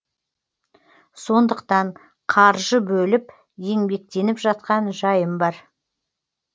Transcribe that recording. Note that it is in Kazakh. сондықтан қаржы бөліп еңбектеніп жатқан жайым бар